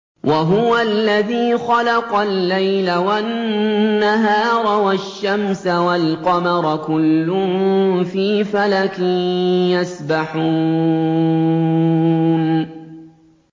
وَهُوَ الَّذِي خَلَقَ اللَّيْلَ وَالنَّهَارَ وَالشَّمْسَ وَالْقَمَرَ ۖ كُلٌّ فِي فَلَكٍ يَسْبَحُونَ